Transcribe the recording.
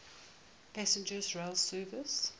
passenger rail service